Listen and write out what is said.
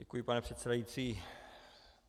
Děkuji, pane předsedající.